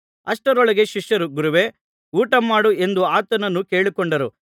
ಅಷ್ಟರೊಳಗೆ ಶಿಷ್ಯರು ಗುರುವೇ ಊಟಮಾಡು ಎಂದು ಆತನನ್ನು ಕೇಳಿಕೊಂಡರು